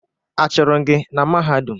Achụrụ gị na Mahadum?